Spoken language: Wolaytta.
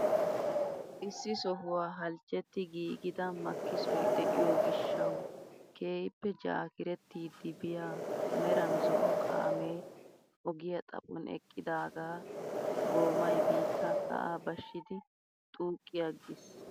Issi sohuwaa halchchetti giigida makkisoy de'iyoo gishshawu keehippe jaakirettiidi biyaa meran zo'o kaamee ogiyaa xaphon eqqidagaa goomay biittaa sa'aa bashshidi xuuqqi aggiis!